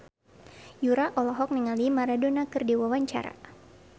Yura olohok ningali Maradona keur diwawancara